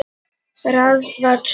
í textanum